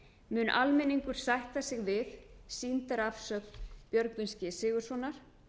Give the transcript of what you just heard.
mun almenningur sætta sig við sýndarafsögn björgvins g sigurðssonar